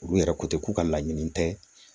Olu yɛrɛ ko ten k'u ka laɲini tɛ